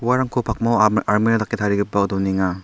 uarangko pakmao alme-almera dake tarigipao donenga.